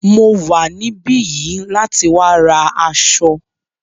Mo wà níbí yìí láti wá ra aṣọ.